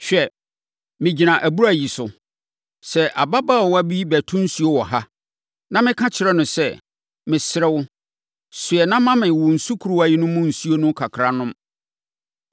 Hwɛ, megyina abura yi so. Sɛ ababaawa bi bɛto nsuo wɔ ha, na meka kyerɛ no sɛ, “Mesrɛ wo, soɛ na ma me wo sukuruwa no mu nsuo no kakra nnom” no,